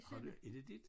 Har det er det dit?